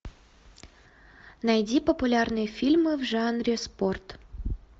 найди популярные фильмы в жанре спорт